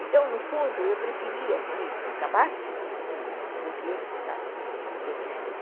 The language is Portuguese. Então, no fundo, eu preferia que acabasse do que ficasse desse jeito.